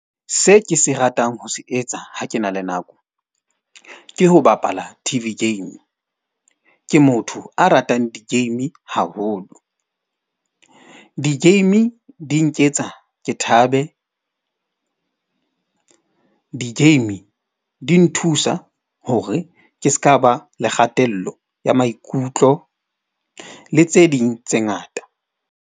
Se ke se ratang ho se etsa ha ke na le nako. Ke ho bapala T_V game. Ke motho a ratang di-game haholo. Di-game di nketsa ke thabe, di-game di nthusa hore ke ska ba le kgatello ya maikutlo le tse ding tse ngata.